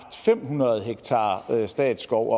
fem hundrede ha statsskov